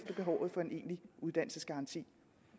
behovet for en egentlig uddannelsesgaranti